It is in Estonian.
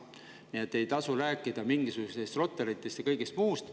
Nii et ei tasu rääkida mingisugustest Rotarytest ja kõigest muust.